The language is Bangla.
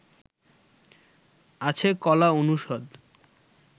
আছে কলা অনুষদ